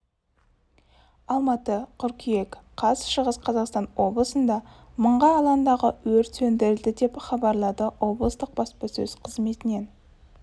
алматы қыркүйек қаз шығыс қазақстан облысында мың га алаңдағы өрт сөндірілді деп хабарлады облыстық баспасөз қызметінен